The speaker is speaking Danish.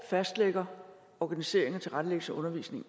og fastlægger organiseringen og tilrettelæggelsen af undervisningen